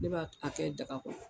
Ne ba a kɛ jaga kɔnɔ.